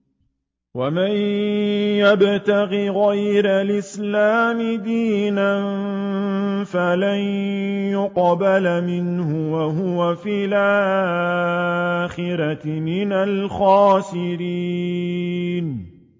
وَمَن يَبْتَغِ غَيْرَ الْإِسْلَامِ دِينًا فَلَن يُقْبَلَ مِنْهُ وَهُوَ فِي الْآخِرَةِ مِنَ الْخَاسِرِينَ